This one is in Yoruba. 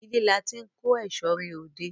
Ilé làti n ko eṣo re odé